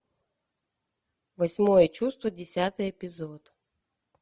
восьмое чувство десятый эпизод